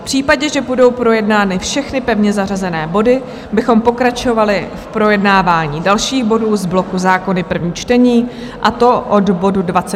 V případě, že budou projednány všechny pevně zařazené body, bychom pokračovali v projednávání dalších bodů z bloku Zákony - první čtení, a to od bodu 26 a dále.